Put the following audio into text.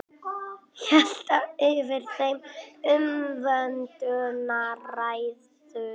Hélt yfir þeim umvöndunarræður.